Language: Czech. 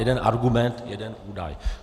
Jeden argument, jeden údaj.